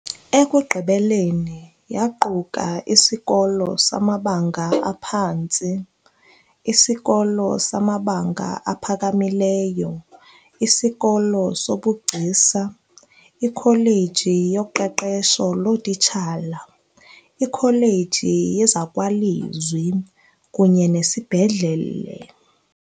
Ekugqibeleni yaquka isikolo samabanga aphantsi, isikolo samabanga aphakamileyo, isikolo sobugcisa, ikholeji yoqeqesho lootitshala, ikholeji yezakwalizwi kunye nesibhedlele.